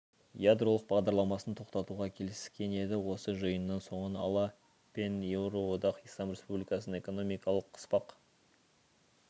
ядролық бағдарламасын тоқтатуға келіскен еді осы жиынның соңын ала пен еуроодақ ислам республикасын экономикалық қыспақ